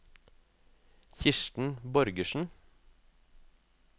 Kirsten Borgersen